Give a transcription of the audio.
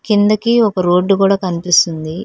కిందకి ఒక రోడ్డు కూడా కనిపిస్తుంది.